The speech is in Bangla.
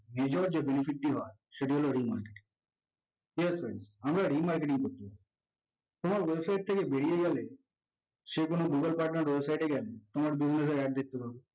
visual যে benefit টি হয় সেটি হলো remarketing ঠিকাছে friends আমরা remarketing করতেছি তোমার website থেকে বেরিয়ে গেলে সে কোনো google partner website এ গেলে তোমার দেখতে পারবে